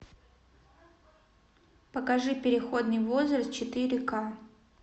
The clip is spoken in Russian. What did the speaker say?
покажи переходный возраст четыре ка